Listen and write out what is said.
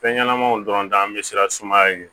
Fɛn ɲɛnɛmaw dɔrɔn an be siran sumaya ye